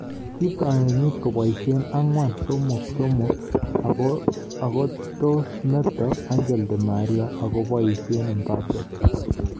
Kitoi kenyiit koboisye 4-3-3 akotosmeto Angel Di Maria akoboisye Mbappe